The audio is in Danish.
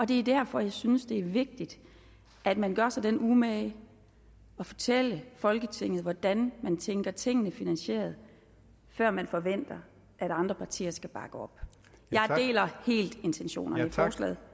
det er derfor jeg synes det er vigtigt at man gør sig den umage at fortælle folketinget hvordan man tænker tingene finansieret før man forventer at andre partier skal bakke op jeg deler helt intentionerne i forslaget